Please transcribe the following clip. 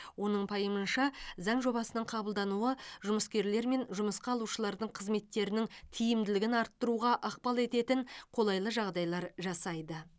оның пайымынша заң жобасының қабылдануы жұмыскерлер мен жұмысқа алушылардың қызметтерінің тиімділігін арттыруға ықпал ететін қолайлы жағдайлар жасайды